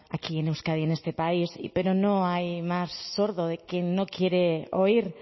aquí en euskadi en este país pero no hay más sordo de quien no quiere oír